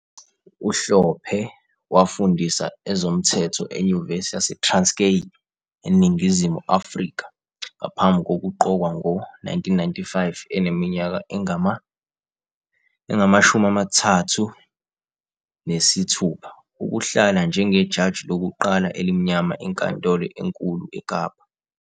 UHlophe wafundisa ezomthetho eNyuvesi yaseTranskei, eNingizimu Afrika, ngaphambi kokuqokwa ngo-1995, eneminyaka engama-36, ukuhlala njengejaji lokuqala elimnyama eNkantolo eNkulu eKapa.